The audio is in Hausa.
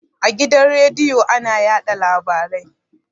A gidan radiyo ana yaɗa labarai